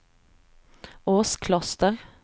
Åskloster